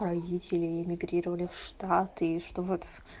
родители эмигрировали в штаты и что вот